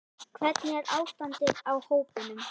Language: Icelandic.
Hvernig er ástandið á hópnum?